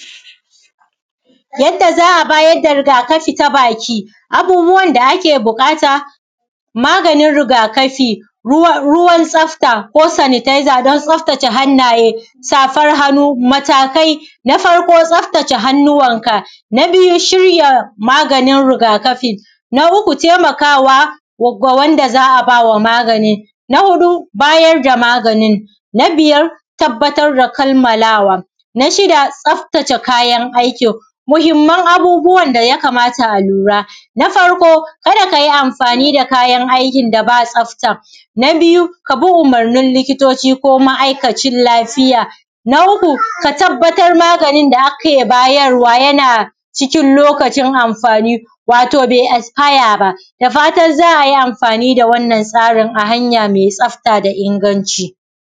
yadda za’a bayar da riga kafi baki abubuwan da ake bukata maganin riga kafi ruwan tsafta ko sanitaiza dan tsafta ce hanna ye safan hannu matakai na farko tsaftace hannuwan ka na biyu shirya maganin rigakafin na uku taimakawa ga wanda za’a bawa maganin na hudu bayarda maganin na biyar tabbatar da kammalawa na shida tsaftace kayan aikin muhimman abubuwan da yakamata a lura na farko kada kayi amfani da kayan aikin da bashida tsafta na biyu kabi umurnin likitoci ko ma’aikacin lafiya na uku ka tabbatar maganin da ake bayarwa yana cikin lokacin amfani wato bai yasfaya ba dafatan za’ayi amfani da wannan labarin ta hanya mai tsafta da inganci